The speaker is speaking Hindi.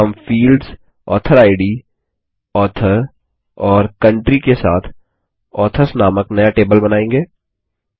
हम फील्ड्स ऑथोरिड ऑथर और कंट्री के साथ ऑथर्स नामक नया टेबल बनाएँगे